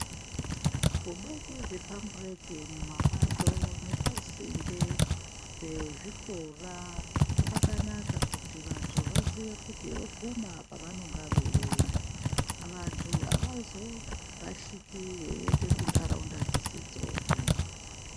Kubeka zvipampureti mumapato nepasinde, nezvikora kwakanaka kuti vantu vaziye kuti vokuma apa vanenge voenda, vantu havazorashiki veente kuntaraunda dzisidzoke.